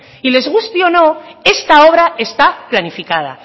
y les guste o no está obra está planificada